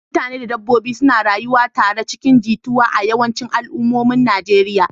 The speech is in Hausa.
Mutane da dabbobi suna rayuwa tare cikin jituwa a yawancin al'ummomin Najeriya.